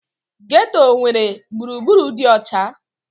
Geeto enwere gburugburu dị ọcha?